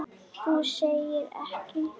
Þú segir ekki!?!